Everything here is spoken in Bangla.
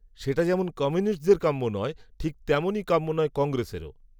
সেটা যেমন কমিউনিস্টদের কাম্য নয়, ঠিক, তেমনই কাম্য নয় কংগ্রেসেরও